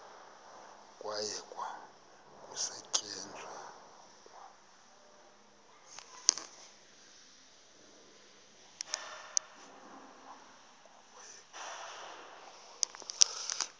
kwayekwa ukusetyenzwa kwa